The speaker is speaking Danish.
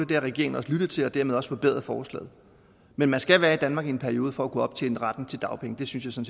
det har regeringen også lyttet til og dermed også forbedret forslaget men man skal være i danmark i en periode for at kunne optjene retten til dagpenge det synes jeg